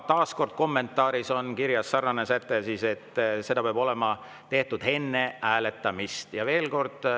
Taas kord, kommentaaris on kirjas ka sarnane säte, et seda peab olema tehtud enne hääletamist.